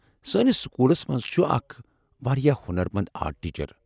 سٲنس سکوٗلس منز چُھ اکھ واریاہ ہۄنرمند آرٹ ٹیچر۔